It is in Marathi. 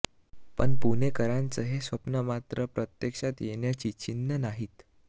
पण पुणेकरांचं हे स्वप्न मात्र प्रत्यक्षात येण्याची चिन्ह नाहीत